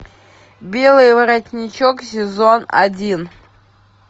белый воротничок сезон один